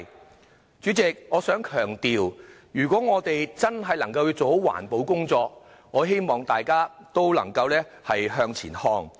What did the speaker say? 代理主席，我想強調，若我們真的要做好環保工作，我希望大家也能向前看。